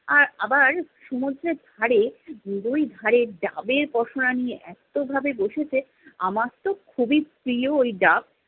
আবার সমুদ্রের ধারে, দুই ধারে, ডাবের পসরা নিয়ে, এত্তোভাবে বসেছে, আমার তো খুবই প্রিয় ওই ডাব।